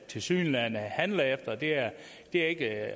tilsyneladende handler efter det er ikke